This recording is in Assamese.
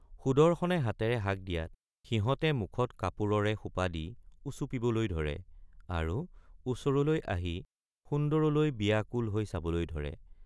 সুদৰ্শনে হাতেৰে হাক দিয়াত সিহঁতে মুখত কাপোৰৰে সোপা দি উচুপিবলৈ ধৰে আৰু ওচৰলৈ আহি সুন্দৰলৈ বিয়াকুল হৈ চাবলৈ ধৰে।